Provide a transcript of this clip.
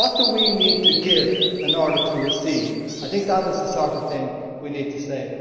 What do we need to give in order to receive? I think that is the sort of thing we need to say.